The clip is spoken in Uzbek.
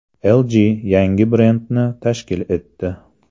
LG yangi brendni tashkil etdi.